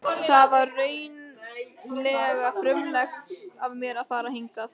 Það var reglulega frumlegt af mér að fara hingað.